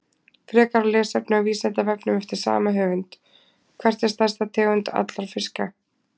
Frekara lesefni á Vísindavefnum eftir sama höfund: Hver er stærsta tegund allra fiska?